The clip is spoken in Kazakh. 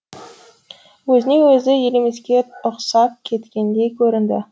өзіне өзі елемеске ұқсап кеткендей көрінді